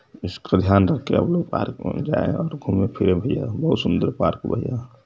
इसका ध्यान रखे आप लोग पार्क में जाय घुमे फिरे भईया ह् बहुत सुन्दर पार्क --